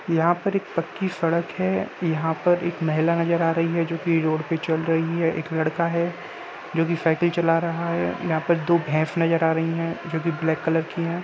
यहाँ पर एक पक्की सड़क है यहाँ पर एक महिला नज़र आ रही है जो कि रोड पर चल रही है एक लड़का है जो कि साइकिल चला रहा है यहाँ पर दो भैस नज़र आ रही हैं जो कि ब्लैक कलर की हैं ।